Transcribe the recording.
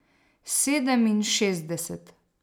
Sedeminšestdeset.